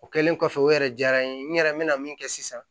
O kɛlen kɔfɛ o yɛrɛ diyara n ye n yɛrɛ bɛna min kɛ sisan